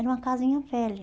Era uma casinha velha.